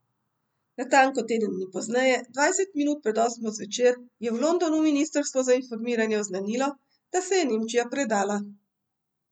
Natanko teden dni pozneje, dvajset minut pred osmo zvečer, je v Londonu ministrstvo za informiranje oznanilo, da se je Nemčija predala.